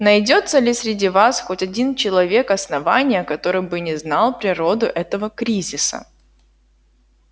найдётся ли среди вас хоть один человек основания который бы не знал природу этого кризиса